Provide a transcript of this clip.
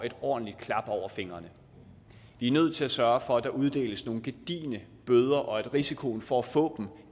et ordentligt klap over fingrene vi er nødt til at sørge for at der uddeles nogle gedigne bøder og at risikoen for at få